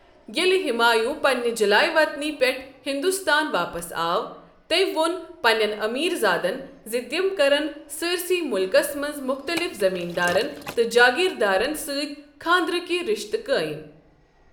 ییٚلہِ ہمایوُں پنٛنہِ جَلایہِ وطنی پٮ۪ٹھٕ ہِنٛدُستان واپس آو، تٔمۍ ووٚن پنٛنٮ۪ن أمیٖر زادن ز تِم کٔرِن سٲرسٕے ملکس منٛز مُختٔلِف زٔمیٖندارن تہٕ جٲکگیٖر دارن سٕتۍ خانٛدرٕکۍ رِشتہٕ قٲیم۔